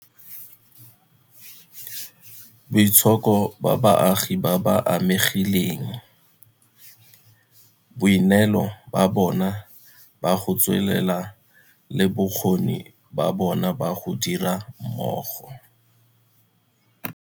Boitshoko ba baagi ba ba amegileng, boineelo ba bona ba go tswelela le bokgoni ba bona ba go dira mmogo.